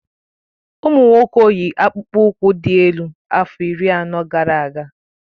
Ụmụ nwoke yi akpụkpọ ụkwụ dị́ elu afọ iri anọ gara aga